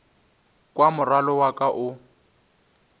kwa morwalo wa ka o